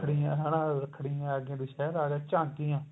ਰੱਖੜੀਆਂ ਰੱਖੜੀਆਂ ਆਗੀਆ ਦੁਸ਼ਹਿਰਾ ਆਗਿਆ ਝਾਂਕੀਆਂ